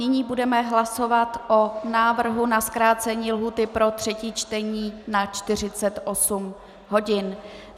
Nyní budeme hlasovat o návrhu na zkrácení lhůty pro třetí čtení na 48 hodin.